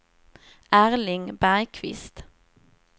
Erling Bergkvist